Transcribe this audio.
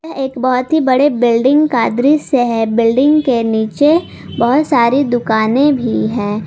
यह एक बहुत ही बड़े बिल्डिंग का दृश्य है बिल्डिंग के नीचे बहुत सारी दुकानें भी है।